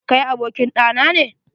Kai abokin ɗa nane?